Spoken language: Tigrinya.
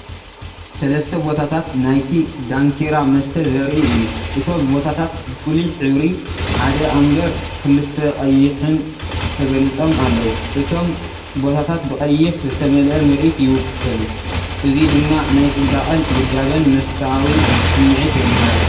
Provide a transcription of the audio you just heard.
ሰለስተ ቦታታት ናይቲ 'ዳንኪራ' መስተ ዘርኢ እዩ። እቶም ቦታታት ብፍሉይ ሕብሪ፡ ሓደ ኣምበር ክልተ ቀይሕን ተገሊጾም ኣለዉ። እቶም ቦታታት ብቐይሕ ዝተመልአ ምርኢት ይውከሉ። እዚ ድማ ናይ ጽባቐን ውዳበን መስታኣዊ ስምዒት የመሓላልፍ።